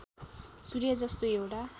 सूर्य जस्तो एउटा